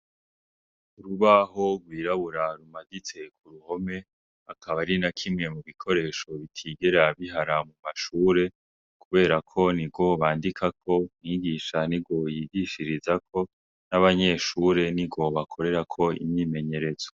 Urubaho rwiraburarumagitse ku ruhome akaba ari nakimwe mu bikoresho bitigera bihara mu mashure, kubera ko ni robandika ko mwigisha ni goyigishirizako n'abanyeshure ni roba akorerako imyimenyerezwo.